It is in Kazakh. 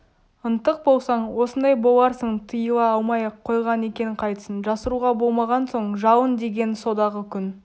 ынтық болсаң осындай боларсың тыйыла алмай-ақ қойған екен қайтсін жасыруға болмаған соң жалын деген содағы күн